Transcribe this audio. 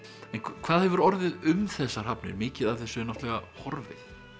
hvað hefur orðið um þessar hafnir mikið af þessu er náttúrulega horfið